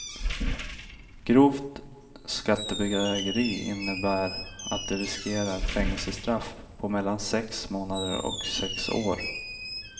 Grovt skattebedrägeri innebär att de riskerar fängelsestraff på mellan sex månader och sex år.